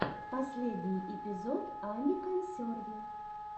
последний эпизод ани консерви